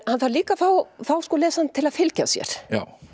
hann þarf líka að fá lesandann til að fylgja sér